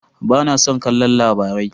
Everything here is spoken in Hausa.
Ba na son kallon Labarai.